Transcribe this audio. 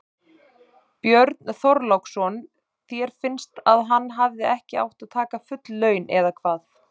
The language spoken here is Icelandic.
Björn Þorláksson: Þér finnst að hann hefði ekki átt að taka full laun eða hvað?